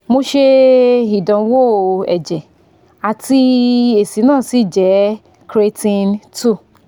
mo se idanwo eje ati esi na si je creatine two